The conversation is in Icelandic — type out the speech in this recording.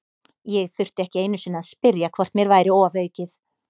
Ég þurfti ekki einu sinni að spyrja hvort mér væri ofaukið.